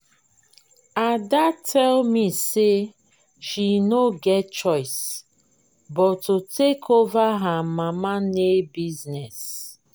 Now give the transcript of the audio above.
Ada tell me say she no get choice but to take over her mama nail business